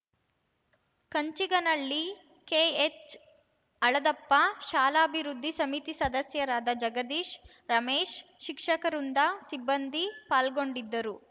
Kanchiganahalli K H Haladappa ಶಾಲಾಭಿವೃದ್ಧಿ ಸಮಿತಿ ಸದಸ್ಯರಾದ ಜಗದೀಶ್‌ ರಮೇಶ್‌ ಶಿಕ್ಷಕವೃಂದ ಸಿಬ್ಬಂದಿ ಪಾಲ್ಗೊಂಡಿದ್ದರು